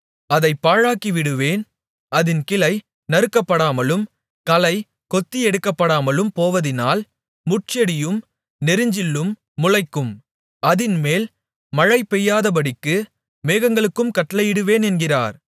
அதைப் பாழாக்கிவிடுவேன் அதின் கிளை நறுக்கப்படாமலும் களை கொத்தி எடுக்கப்படாமலும் போவதினால் முட்செடியும் நெரிஞ்சிலும் முளைக்கும் அதின்மேல் மழை பெய்யாதபடிக்கு மேகங்களுக்கும் கட்டளையிடுவேன் என்கிறார்